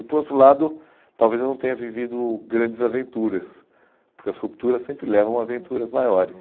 E por outro lado, talvez eu não tenha vivido grandes aventuras, porque as rupturas sempre levam a aventuras maiores.